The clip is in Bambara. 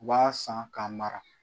U b'a san k'a mara